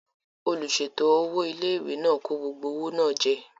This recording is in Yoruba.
Olùsèètò owó ilé-ìwé náà kó gbogbo owó náà jẹ